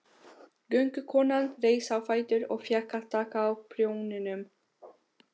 Göngukonan reis á fætur og fékk að taka á prjóninum.